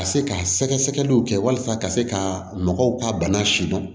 Ka se ka sɛgɛsɛgɛliw kɛ walasa ka se ka mɔgɔw ka bana sidɔn